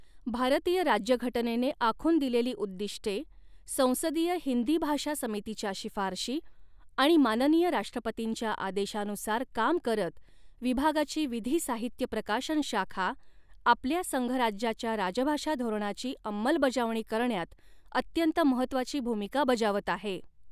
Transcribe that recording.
भारतीय राज्यघटनेने आखून दिलेली उद्दीष्टे, संसदीय हिंदी भाषा समितीच्या शिफारशी आणि माननीय राष्ट्रपतींच्या आदेशानुसार काम करत विभागाची विधी साहित्य प्रकाशन शाखा आपल्या संघराज्याच्या राजभाषा धोरणाची अंमलबजावणी करण्यात अत्यंत महत्त्वाची भूमिका बजावत आहे.